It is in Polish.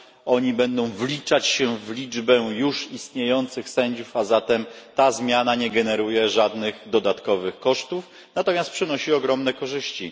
oni będą wliczać się w liczbę już istniejących sędziów, a zatem ta zmiana nie generuje żadnych dodatkowych kosztów, natomiast przynosi ogromne korzyści.